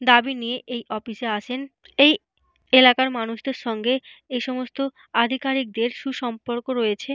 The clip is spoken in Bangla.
দাবি নিয়ে এই অফিস এ আসেন। এই এলাকার মানুষদের সঙ্গে এই সমস্ত আধিকারীকদের সুসম্পর্ক রয়েছে।